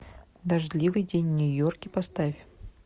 дождливый день в нью йорке поставь